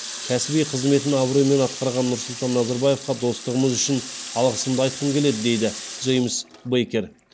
кәсіби қызметін абыроймен атқарған нұрсұлтан назарбаевқа достығымыз үшін алғысымды айтқым келеді дейді джеймс бейкер